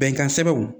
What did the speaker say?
Bɛnkan sɛbɛnw